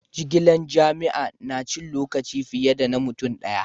Jigilan jama'a na cin lokaci fiye da na mutum daya.